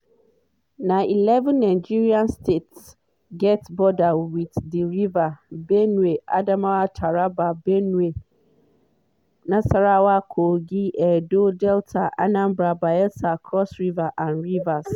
na eleven nigeria states get border wit di river benue adamawa taraba benue nasarawa kogi edo delta anambra bayelsa cross river and rivers.